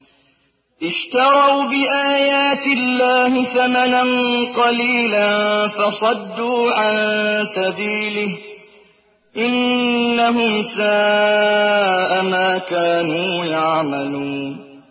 اشْتَرَوْا بِآيَاتِ اللَّهِ ثَمَنًا قَلِيلًا فَصَدُّوا عَن سَبِيلِهِ ۚ إِنَّهُمْ سَاءَ مَا كَانُوا يَعْمَلُونَ